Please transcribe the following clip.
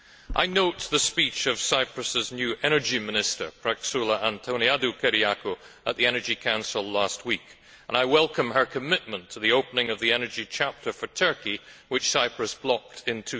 I note the speech of Cyprus's new Energy Minister, Praxoula Antoniadou Kyriakou at the Energy Council last week, and I welcome her commitment to the opening of the energy chapter for Turkey, which Cyprus blocked in